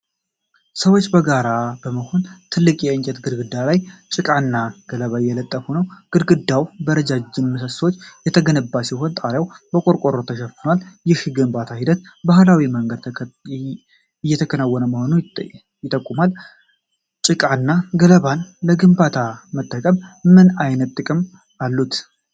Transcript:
ሰዎች በጋራ በመሆን ትልቅ የእንጨት ግድግዳ ላይ ጭቃና ገለባ እየለጠፉ ነው። ግድግዳው በረዣዥም ምሰሶዎች የተገነባ ሲሆን ጣሪያውም በቆርቆሮ ተሸፍኗል። ይህ የግንባታ ሂደት በባህላዊ መንገድ የተከናወነ መሆኑን ይጠቁማል። ጭቃና ገለባን ለግንባታ መጠቀም ምን ዓይነት ጥቅሞች አሉት?